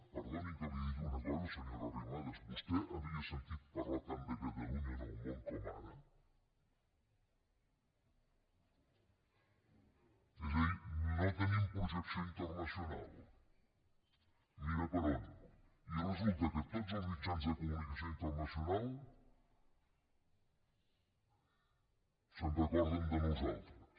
perdoni que li digui una cosa senyora arrimadas vostè havia sentit parlar tant de catalunya en el món com ara és a dir no tenim projecció internacional mira per on i resulta que tots els mitjans de comunicació internacionals se’n recorden de nosaltres